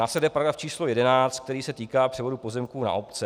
Následuje § 11, který se týká převodu pozemků na obce.